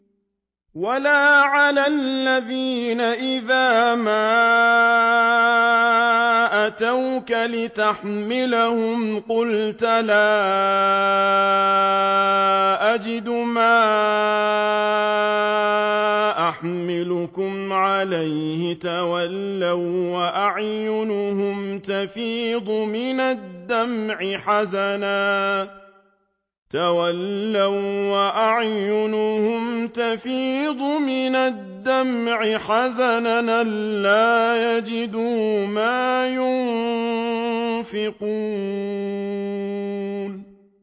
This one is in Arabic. وَلَا عَلَى الَّذِينَ إِذَا مَا أَتَوْكَ لِتَحْمِلَهُمْ قُلْتَ لَا أَجِدُ مَا أَحْمِلُكُمْ عَلَيْهِ تَوَلَّوا وَّأَعْيُنُهُمْ تَفِيضُ مِنَ الدَّمْعِ حَزَنًا أَلَّا يَجِدُوا مَا يُنفِقُونَ